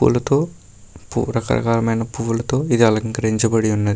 పూలతో పూ రకరకాలమైన పూలతో ఇది అలంకరించబడి ఉన్నద్ --